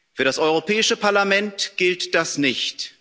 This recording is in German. Für das Europäische Parlament gilt das nicht.